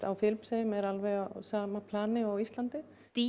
á Filippseyjum er alveg á sama plani og á Íslandi